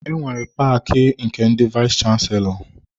Enwere paki nke ndị vayis chansilọ.